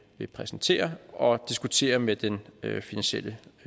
vil præsentere og diskutere med den finansielle